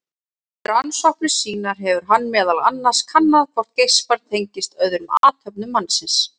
Við rannsóknir sínar hefur hann meðal annars kannað hvort geispar tengist öðrum athöfnum mannsins.